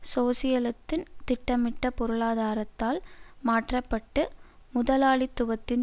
சோசியலத்தின் திட்டமிட்ட பொருளாதாரத்தால் மாற்ற பட்டு முதலாளித்துவத்தின்